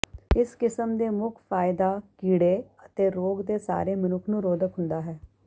ਇਸ ਕਿਸਮ ਦੇ ਮੁੱਖ ਫਾਇਦਾ ਕੀੜੇ ਅਤੇ ਰੋਗ ਦੇ ਸਾਰੇ ਮਨੁੱਖ ਨੂੰ ਰੋਧਕ ਹੁੰਦਾ ਹੈ